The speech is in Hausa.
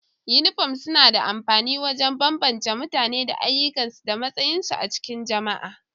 Yinifom suna da amfani wajen bambance mutane da ayyukan su da matsayin su a cikin jama'a